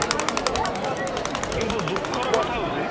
କିନ୍ତୁ ଦୁଖର କଥା ହଉଚି